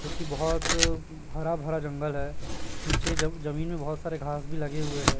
क्योंकि बहुत हरा भरा जंगल है पीछे जब जमीन में बहुत सारे घास भी लगे हुए हैं।